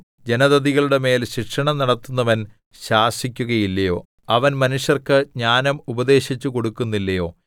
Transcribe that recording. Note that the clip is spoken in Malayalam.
ജനതതികളുടെ മേൽ ശിക്ഷണം നടത്തുന്നവൻ ശാസിക്കുകയില്ലയോ അവൻ മനുഷ്യർക്ക് ജ്ഞാനം ഉപദേശിച്ചുകൊടുക്കുന്നില്ലയോ